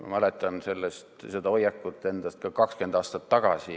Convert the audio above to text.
Ma mäletan enda seda hoiakut ka 20 aastat tagasi.